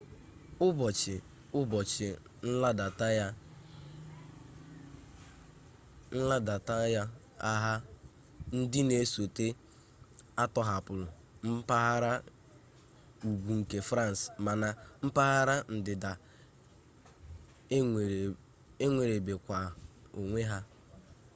ubochi-ubochi nladata ya agha ndi na esota atohapula mpaghara ugwu nke france mana mpaghara ndida enwerebekwa onwe ha